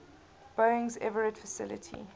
boeing's everett facility